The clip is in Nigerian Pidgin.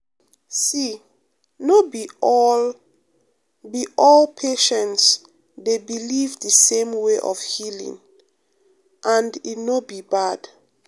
see no be all be all patients dey believe the same way of healing and e no be bad.